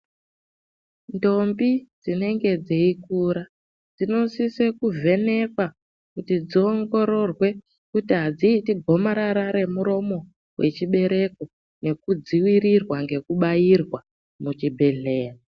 Ndombi dzinenge dzeikura dzinosise kuvhenekwa kuti dziongorerwe kuti adziiti gomarara remuromo wechibereko nekudzivirirwa ngekubairwa muchibhedhlera.